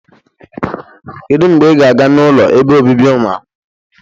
Kedu mgbe ị ga-aga n'ụlọ ebe obibi ụmụakwụkwọ?